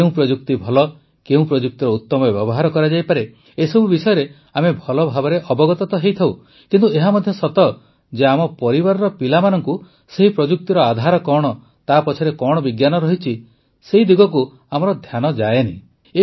କେଉଁ ପ୍ରଯୁକ୍ତି ଭଲ କେଉଁ ପ୍ରଯୁକ୍ତିର ଉତ୍ତମ ବ୍ୟବହାର କରାଯାଇପାରେ ଏସବୁ ବିଷୟରେ ଆମେ ଭଲଭାବେ ଅବଗତ ତ ହୋଇଥାଉ କିନ୍ତୁ ଏହା ମଧ୍ୟ ସତ ଯେ ଆମ ପରିବାରର ପିଲାମାନଙ୍କୁ ସେହି ପ୍ରଯୁକ୍ତିର ଆଧାର କଣ ତା ପଛରେ କଣ ବିଜ୍ଞାନ ରହିଛି ସେହି ଦିଗକୁ ଆମର ଧ୍ୟାନ ଯାଏ ନାହିଁ